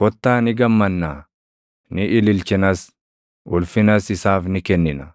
Kottaa ni gammannaa; ni ililchinas; ulfinas isaaf ni kennina!